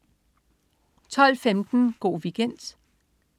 12.15 Go' Weekend